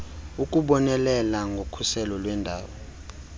ukubonelela ngokhuselo lweendawo